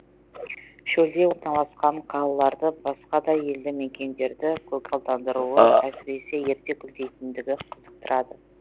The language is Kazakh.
шөлде орналасқан қалаларды басқа да елді мекендерді көгалдандыруы әсіресе ерте гүлдейтіндігі қызықтырады